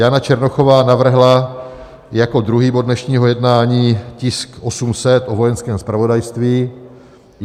Jana Černochová navrhla jako druhý bod dnešního jednání tisk 800 o Vojenském zpravodajství.